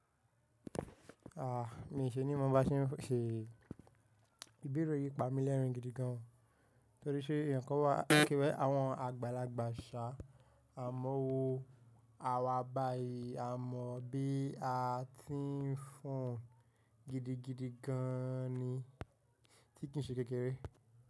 A, mi ṣení mọ ba tí ń ṣe, ìbéèrè yìí pamí lẹ́rìn gidi gan an. Torí ṣe ìyẹn kó wà kíwẹ́ àwọn àgbàlagbà ṣà á mọ́ wo àwa báyi, a mọ bí a ti ń fọn gidi gidi gan an ni tí kì ń ṣe kékeré.